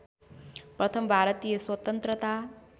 प्रथम भारतीय स्वतन्त्रता